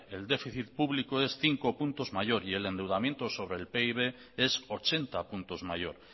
el déficit público es cinco puntos mayor y el endeudamiento sobre el pib es ochenta puntos mayor